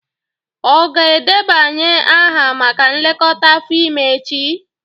Ọ ga-edebanye aha maka nlekọta afọ ime echi?